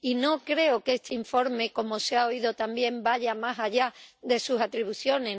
Y no creo que este informe —como se ha oído también— vaya más allá de sus atribuciones.